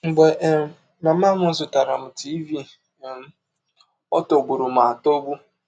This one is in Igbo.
“ Mgbe um mama m zụtaara m tiịvi um, ọ tọgbụrụ m atọgbụ!